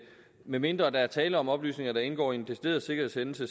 medmindre der er tale om oplysninger der indgår i en decideret sikkerhedshændelse